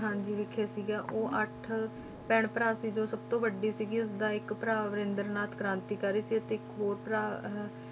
ਹਾਂਜੀ ਵਿਖੇ ਸੀਗਾ ਉਹ ਅੱਠ ਭੈਣ ਭਰਾ ਸੀ ਜੋ ਸਭ ਤੋਂ ਵੱਡੀ ਸੀਗੀ ਉਸਦਾ ਇੱਕ ਭਰਾ ਵਰਿੰਦਰਨਾਥ ਕ੍ਰਾਂਤੀਕਾਰੀ ਸੀ ਅਤੇ ਇੱਕ ਹੋਰ ਭਰਾ ਹ~